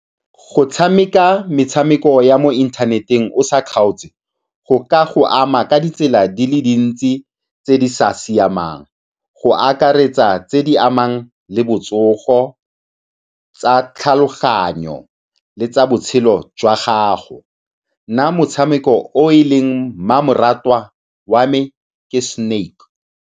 Go tshameka metshameko ya mo inthaneteng o sa kgaotse go ka go ama ka ditsela di le dintsi tse di sa siamang, go akaretsa tse di amang le botsogo tsa tlhaloganyo le tsa botshelo jwa gago. Nna motshameko o e leng mmamoratwa wa me ke Snake.